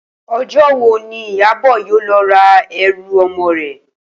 O̩jó̩ wo ni Ìyábò̩ yóò lo̩ ra e̩rù o̩mo̩ rè̩?